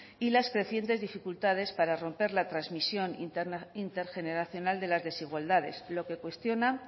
y las crecientes dificultades para romper la transmisión intergeneracional de las desigualdades lo que cuestiona